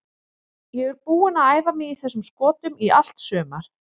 Ég er búinn að æfa mig í þessum skotum í allt sumar.